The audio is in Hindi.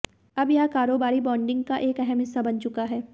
अब यह कारोबारी ब्रांडिंग का एक अहम हिस्सा बन चुका है